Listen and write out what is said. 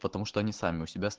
потому что они сами у себя